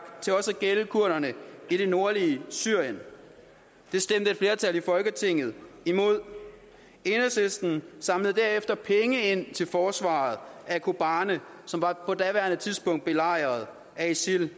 til også at gælde kurderne i det nordlige syrien det stemte et flertal i folketinget imod enhedslisten samlede derefter penge ind til forsvaret af kobane som på daværende tidspunkt var belejret af isil